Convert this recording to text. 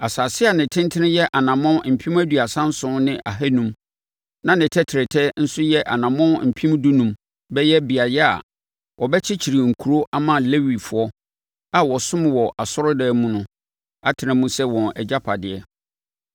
Asase a ne tentene yɛ anammɔn mpem aduasa nson ne ahanum (37,500) na ne tɛtrɛtɛ nso yɛ anammɔn mpem dunum (15,000) bɛyɛ beaeɛ a wɔbɛkyekyere nkuro ama Lewifoɔ a wɔsom wɔ asɔredan mu no atena mu sɛ wɔn agyapadeɛ.